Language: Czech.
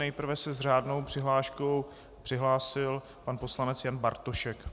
Nejprve se s řádnou přihláškou přihlásil pan poslanec Jan Bartošek.